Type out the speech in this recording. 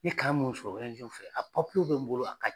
N ye kan min sɔrɔ fɛ a papiyew bɛ n bolo a ka ɲi.